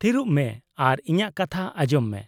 -ᱛᱷᱤᱨᱚᱜ ᱢᱮ ᱟᱨ ᱤᱧᱟᱹᱜ ᱠᱟᱛᱷᱟ ᱟᱸᱡᱚᱢ ᱢᱮ ᱾